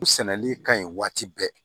U sɛnɛli ka ɲi waati bɛɛ